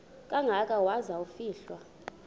kangaka waza kufihlwa